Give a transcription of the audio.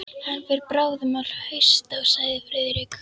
Hann fer bráðum að hausta sagði Friðrik.